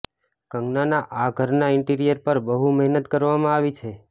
કંગનાના આ ઘરના ઇન્ટિરિયર પર બહુ મહેનત કરવામા આવી છે